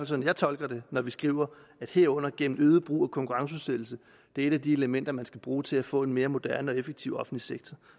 sådan jeg tolker det når vi skriver herunder gennem øget brug af konkurrenceudsættelse det er et af de elementer man skal bruge til at få en mere moderne og effektiv offentlig sektor